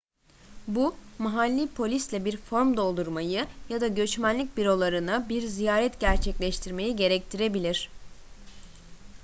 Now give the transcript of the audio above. bu mahalli polisle bir form doldurmayı ya da göçmenlik bürolarına bir ziyaret gerçekleştirmeyi gerektirebilir